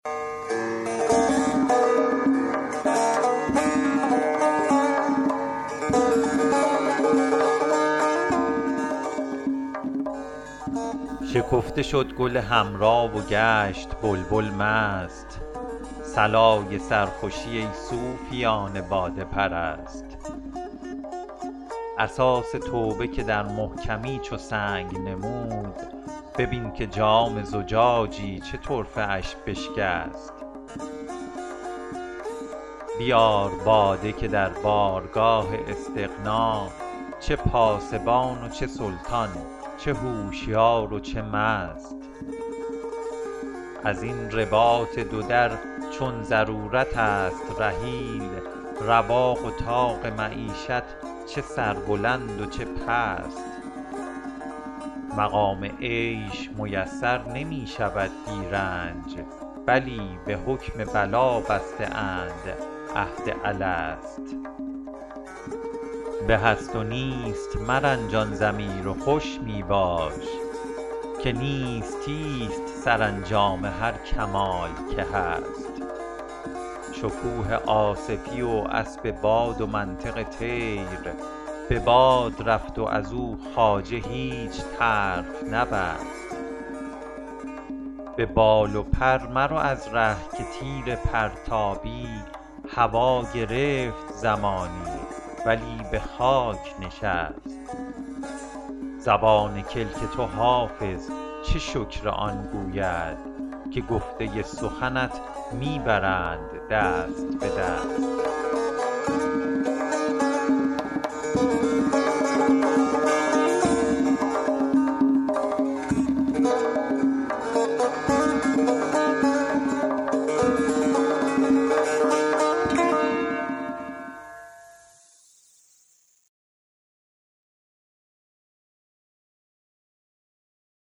شکفته شد گل حمرا و گشت بلبل مست صلای سرخوشی ای صوفیان باده پرست اساس توبه که در محکمی چو سنگ نمود ببین که جام زجاجی چه طرفه اش بشکست بیار باده که در بارگاه استغنا چه پاسبان و چه سلطان چه هوشیار و چه مست از این رباط دو در چون ضرورت است رحیل رواق و طاق معیشت چه سربلند و چه پست مقام عیش میسر نمی شود بی رنج بلی به حکم بلا بسته اند عهد الست به هست و نیست مرنجان ضمیر و خوش می باش که نیستی ست سرانجام هر کمال که هست شکوه آصفی و اسب باد و منطق طیر به باد رفت و از او خواجه هیچ طرف نبست به بال و پر مرو از ره که تیر پرتابی هوا گرفت زمانی ولی به خاک نشست زبان کلک تو حافظ چه شکر آن گوید که گفته سخنت می برند دست به دست